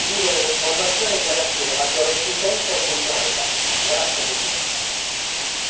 appieno la propria attività per condividere le informazioni e garantire maggiore efficienza e funzionalità.